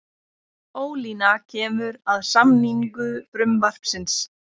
Ólína kemur að samningu frumvarpsins